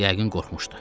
Yəqin qorxmuşdu.